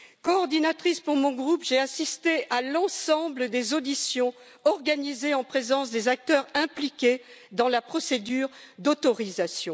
Coordinatrice pour mon groupe, j'ai assisté à l'ensemble des auditions organisées en présence des acteurs impliqués dans la procédure d'autorisation.